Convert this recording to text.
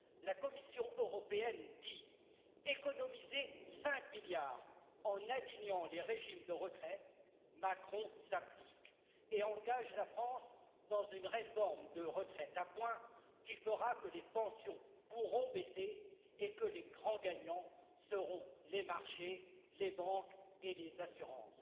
La Commission européenne dit économisez cinq milliards en alignant les régimes de retraite Macron s'applique et engage la France dans une réforme de retraites à points qui fera que les pensions pourront baisser et que les grands gagnants seront les marchés, les banques et les assurances.